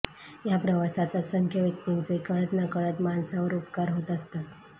या प्रवासात असंख्य व्यक्तींचे कळत नकळत माणसावर उपकार होत असतात